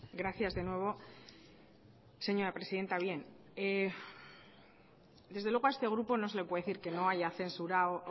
gracias de nuevo señora presidenta desde luego a este grupo no se les puede decir que no haya censurado